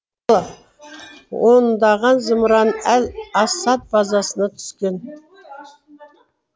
ондаған зымыран әл асад базасына түскен